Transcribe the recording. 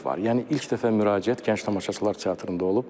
Yəni ilk dəfə müraciət gənc tamaşaçılar teatrında olub.